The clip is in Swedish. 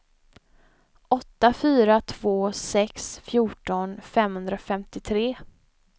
åtta fyra två sex fjorton femhundrafemtiotre